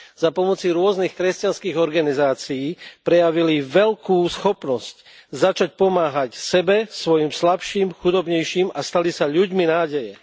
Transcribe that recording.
Za pomoci rôznych kresťanských organizácií prejavili veľkú schopnosť začať pomáhať sebe, svojim slabším, chudobnejším a stali sa ľuďmi nádeje.